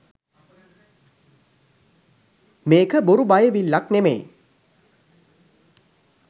මේක බොරු බයවිල්ලක් නෙවෙයි